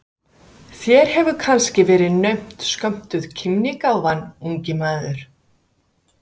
Þér hefur kannski verið naumt skömmtuð kímnigáfan, ungi maður.